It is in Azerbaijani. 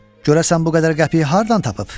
Görəsən bu qədər qəpiyi hardan tapıb?